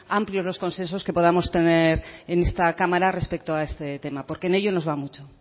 amplios los consensos que podamos tener en esta cámara respecto a este tema porque en ello nos va mucho